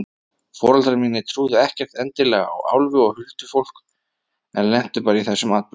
Foreldrar mínir trúðu ekkert endilega á álfa og huldufólk en lentu bara í þessum atburðum.